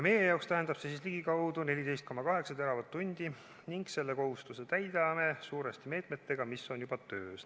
Meie jaoks tähendab see ligikaudu 14,8 teravatt-tundi ning selle kohustuse täidame suuresti meetmetega, mis on juba töös.